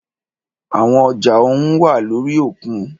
Àwọn ọjà ohùn wá lórí òkun.